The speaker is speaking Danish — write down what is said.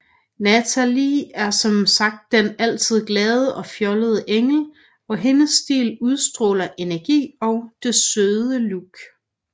Natalie er som sagt den altid glade og fjollede Engel og hendes stil udstråler energi og det søde look